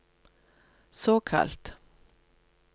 såkalt